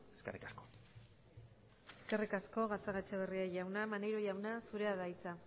eskerrik asko eskerrik asko gatzagaetxebarria jauna maneiro jauna zurea da hitza